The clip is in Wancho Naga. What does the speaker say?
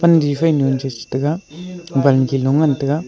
difai ma jijit tega bam ke ngan tega.